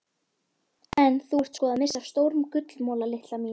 En þú ert sko að missa af stórum gullmola litla mín.